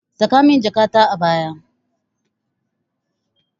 Saka min jakata a baya.